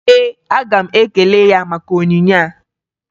Ee, aga m ekele ya maka onyinye a